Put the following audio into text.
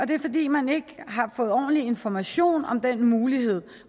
det er fordi man ikke har fået ordentlig information om den mulighed